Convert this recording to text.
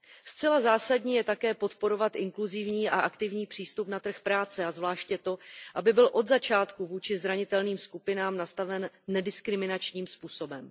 Zcela zásadní je také podporovat inkluzivní a aktivní přístup na trh práce a zvláště to, aby byl od začátku vůči zranitelným skupinám nastaven nediskriminačním způsobem.